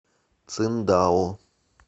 циндао